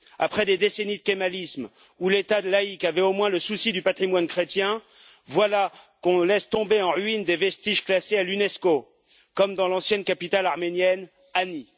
Après des décennies de kémalisme, où l'état laïc avait au moins le souci du patrimoine chrétien, voilà qu'on laisse tomber en ruines des vestiges classés au patrimoine de l'Unesco, comme dans l'ancienne capitale arménienne, Ani.